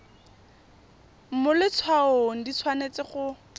mo letshwaong di tshwanetse go